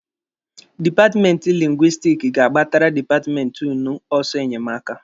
Dipatmenti lingwistiki ga-agbatara dipatmenti ụnụ ọsọ enyemaka.